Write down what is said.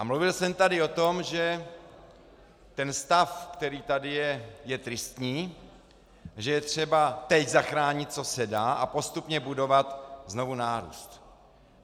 A mluvil jsem tady o tom, že ten stav, který tady je, je tristní, že je třeba teď zachránit, co se dá, a postupně budovat znovu nárůst.